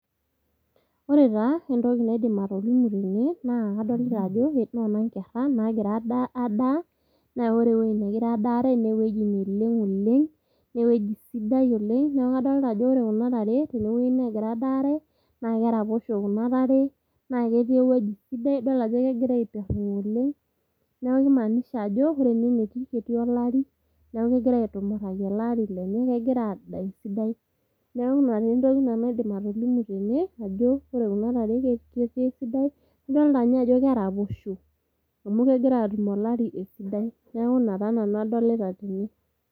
Ore taa entoki naidim atolimu tene naa kadolita ajo noona nkera naagira adaa , naa ore ewueji nagira adaare naa ewueji neleng oleng nee ewueji sidai oleng. Niaku kadolta ajo ore kuna tare tewueji negira adaare naa keraposho kuna tare naa kadol ajo kegira itiringa oleng . Niaku kimaanisha ajo ore ene wueji netii naa ketii olari, neaku kegira aitumuraki ele ari lenye niaku kegira adaa esidai. Niaku ina naa entoki naidim atolimu tene ajo ore kuna tare ketii esidai , idolita ninye ajo keraposho amu kegira atum olari esidai niaku ina taa nanu adolita tene.